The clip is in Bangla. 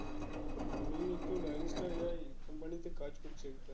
আমি তো company তে কাজ করছি একটা